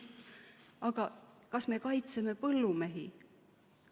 Aga kas me kaitseme põllumehi?